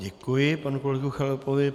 Děkuji panu kolegovi Chalupovi.